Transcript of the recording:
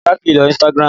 Olá kìí lo Instagram